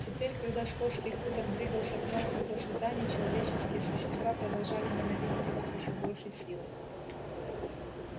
теперь когда скотский хутор двигался к новому процветанию человеческие существа продолжали ненавидеть его с ещё большей силой